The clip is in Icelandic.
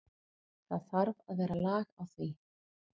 Það þarf að vera lag á því.